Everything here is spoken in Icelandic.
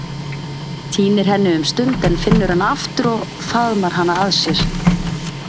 Týnir henni um stund en finnur hana aftur og faðmar hana að sér.